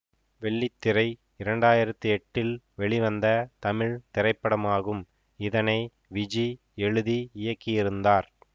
வெள்ளித்திரை இரண்டு ஆயிரத்தி எட்டில் வெளிவந்த தமிழ் திரைப்படமாகும் இதனை விஜி எழுதி இயக்கியிருந்தார்